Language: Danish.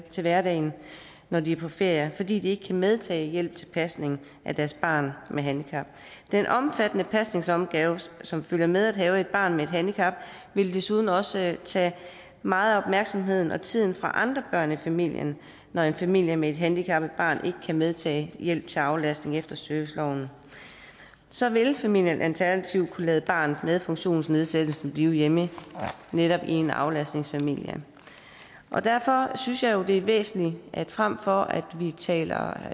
til hverdagen når de er på ferie fordi de ikke kan medtage hjælp til pasning af deres barn med handicap den omfattende pasningsopgave som følger med at have et barn med et handicap vil desuden også tage meget af opmærksomheden og tiden fra andre børn i familien når en familie med et handicappet barn ikke kan medtage hjælp til aflastning efter serviceloven så vil familien alternativt kunne lade barnet med funktionsnedsættelsen blive hjemme i netop en aflastningsfamilie derfor synes jeg jo det er væsentligt at vi frem for at vi taler